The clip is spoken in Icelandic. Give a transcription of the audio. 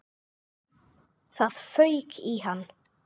Það fauk í hann.